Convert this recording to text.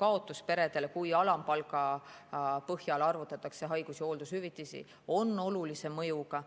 kaotus peredel, kui alampalga põhjal arvutatakse haigus‑ ja hooldushüvitisi, on olulise mõjuga.